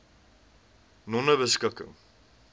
nonebeskikking